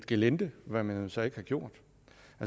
gelinde hvad man så ikke har gjort